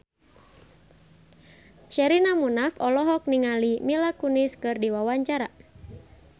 Sherina Munaf olohok ningali Mila Kunis keur diwawancara